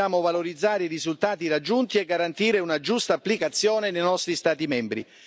Ora dobbiamo valorizzare i risultati raggiunti e garantire una giusta applicazione nei nostri Stati membri.